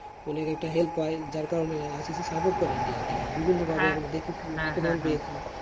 ওদের একটা help হয় যার কারণে ICC support করে ইন্ডিয়াকে। বিভিন্নভাবে আমি দেখি তুমি বুঝতে পারবে। যার কারে,